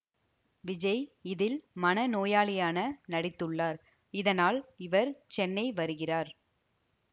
விஜய் இதில் மனநோயாளியான நடித்துள்ளார் இதனால் இவர் சென்னை வருகிறார்